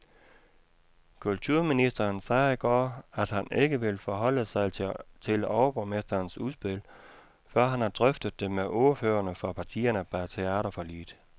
Kulturministeren sagde i går, at han ikke vil forholde sig til overborgmesterens udspil, før han har drøftet det med ordførerne for partierne bag teaterforliget.